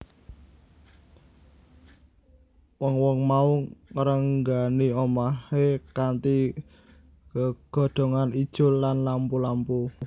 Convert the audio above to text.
Wong wong mau ngrenggani omahe kanthi gegodhongan ijo lan lampu lampu